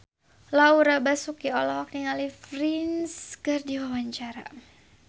Laura Basuki olohok ningali Prince keur diwawancara